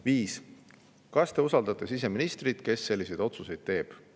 Viies küsimus: "Kas Teie usaldate siseministrit, kes selliseid otsuseid teeb?